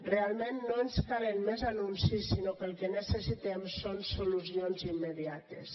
realment no ens calen més anuncis sinó que el que necessitem són solucions immediates